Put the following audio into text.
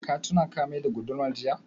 Ka tuna ka mai da gudumar jiya?